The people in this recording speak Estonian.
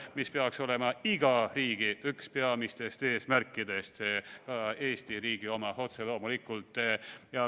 Ja see peaks olema iga riigi üks peamisi eesmärke, otse loomulikult ka Eesti riigi oma.